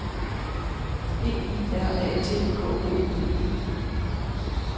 P I R A T K O P I